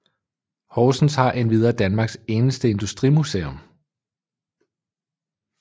Horsens har endvidere Danmarks eneste industrimuseum